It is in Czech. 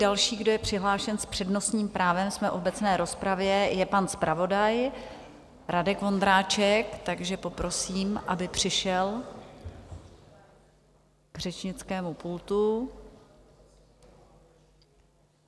Další, kdo je přihlášen s přednostním právem - jsme v obecné rozpravě - je pan zpravodaj Radek Vondráček, takže poprosím, aby přišel k řečnickému pultu.